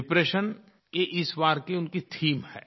depression ये इस बार की उनकी थीम है